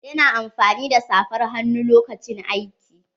Ya na amfani da saffar hannu lokacin aiki.